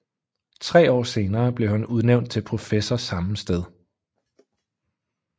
Tre år senere blev han udnævnt til professor samme sted